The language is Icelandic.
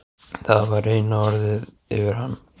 Það var eina orðið yfir hann.